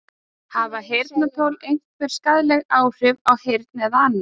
Hafa heyrnartól einhver skaðleg áhrif á heyrn eða annað?